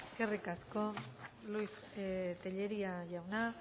eskerrik asko luis tellería jauna